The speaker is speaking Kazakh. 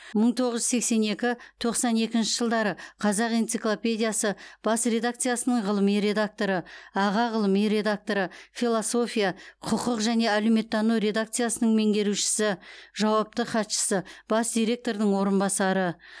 мың тоғыз жүз сексен екі тоқсан екінші жылдары қазақ энциклопедиясы бас редакциясының ғылыми редакторы аға ғылыми редакторы философия құқық және әлеуметтану редакциясының меңгерушісі жауапты хатшысы бас директордың орынбасары